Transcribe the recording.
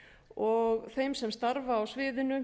og þeim sem starfa á sviðinu